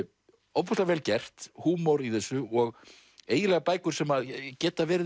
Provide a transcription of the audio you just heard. ofboðslega vel gert húmor í þessu og eiginlega bækur sem geta verið